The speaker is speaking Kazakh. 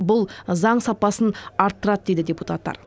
бұл заң сапасын арттырады дейді депутаттар